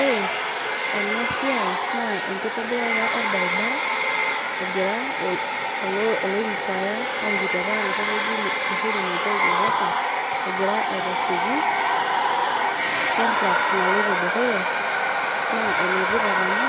Ore ena siai naa enkitobirata orbaribara egira CS[retire]CS orikito apa enkop oji Uhuru Mwigai Kenyatta egira aitasheki CS[contact]CS naloito dukuya naa enetipat amu,